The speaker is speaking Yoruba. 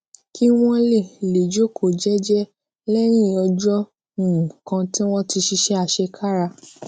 kí wón lè lè jókòó jééjéé léyìn ọjó um kan tí wón ti ṣiṣé àṣekára